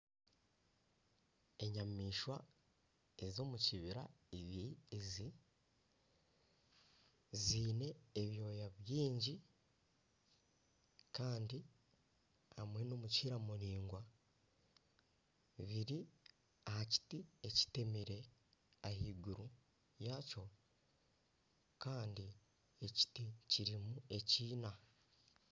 Enyamaishwa ez'omukibira ibiri ezi ziine ebyooya bingi Kandi hamwe n'emikira miringwa, biri aha kiti ekitemire. Ah'iguru yakyo Kandi ekiti kirimu ekiina.